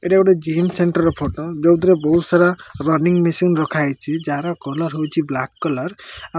ଏଇଟା ଗୋଟେ gym centre ର ଫଟୋ ଯୋଉଥିରେ ବହୁତ ସାରା ରନିଂ ମେସିନ୍ ରଖାଯାଇଛି ଯାହାର କଲର୍ ହଉଛି ବ୍ଲାକ କଲର୍ ।